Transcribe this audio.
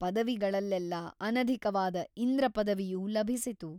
ಪದವಿಗಳಲ್ಲೆಲ್ಲಾ ಅನಧಿಕವಾದ ಇಂದ್ರ ಪದವಿಯು ಲಭಿಸಿತು.